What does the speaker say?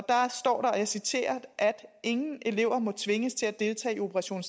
jeg citerer ingen elever må tvinges til at deltage i operation